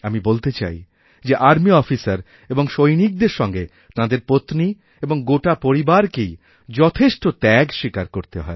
আমি বলতে চাই যেআর্মি অফিসার এবং সৈনিকদের সঙ্গে তাঁদের পত্নী এবং গোটা পরিবারকেই যথেষ্ট ত্যাগস্বীকার করতে হয়